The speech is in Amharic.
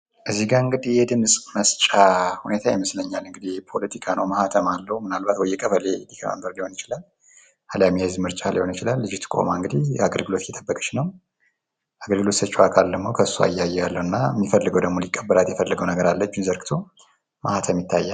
እዚጋ እንግዲህ የድምጽ መስጫ ሁኔታ ይመስለኛል ፤ እንግዲህ ፖለቲካ ነው፣ ማኅተም አለው ምናልባት የቀበሌ ሊሆን ይችላል አልያም የህዝብ ምርጫ ሊሆን ይችላል ፤ ልጅቷ ቁማ እንግዲህ አገልግሎት እየጠበቀች ነው ። አገልግሎት ሰጪዉ አካል ደሞ ከሷ እያየዉ ያለው እና ሊቀበላት ሚፈልገዉ ነገር አለ እጁን ዘርግቶ።